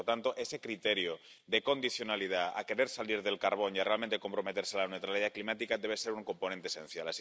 Y, por lo tanto, ese criterio de condicionalidad, de salir del carbón y realmente comprometerse con la neutralidad climática debe ser un componente esencial.